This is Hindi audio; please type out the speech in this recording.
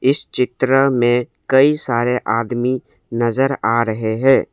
इस चित्र में कई सारे आदमी नजर आ रहे हैं।